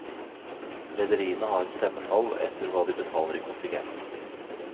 Rederiene har stemmetall etter hva de betaler i kontingent.